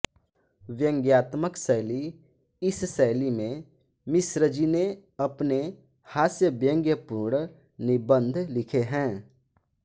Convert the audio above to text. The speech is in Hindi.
व्यंग्यात्मक शैली इस शैली में मिश्रजी ने अपने हास्यव्यंग्यपूर्ण निबंध लिखे हैं